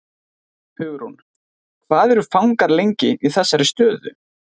Hugrún: Hvað eru fangar lengi í þessari stöðu?